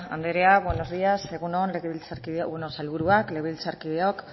andrea buenos días egun on sailburuak legebiltzarkideok